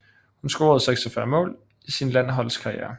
Hun scorede 46 mål i sin landshold karriere